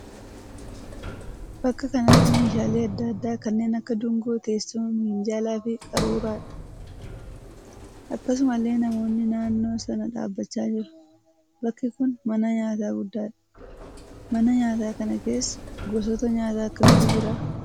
Bakka kanatti meeshaalee adda addaa kanneen akka dungoo, teessuma, minjaalaa fi qaruuraadha. Akkasumallee namoonni naannoo sana dhaabbachaa jiru. Bakki kun mana nyaataa guddaadha. Mana nyaataa kana keessa gosoota nyaataa akkamiitu jira?